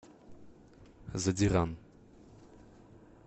задиран